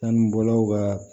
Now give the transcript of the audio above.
Sanubɔlaw ka